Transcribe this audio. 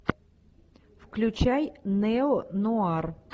включай неонуар